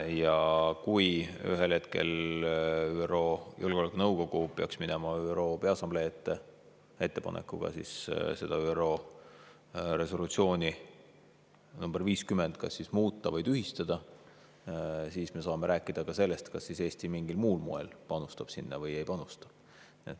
Ja kui ühel hetkel ÜRO Julgeolekunõukogu peaks minema ÜRO Peaassamblee ette ettepanekuga see ÜRO resolutsioon nr 50 kas muuta või tühistada, siis me saame rääkida ka sellest, kas Eesti mingil muul moel panustab sinna või ei panusta.